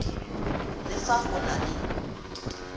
le fa go na le